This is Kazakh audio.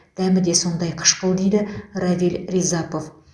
дәмі де сондай қышқыл дейді равиль рязапов